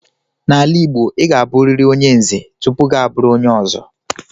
N'ala Igbo, ị ga-abụriri onye Nze tupu gị abụrụ onye Ọzọ.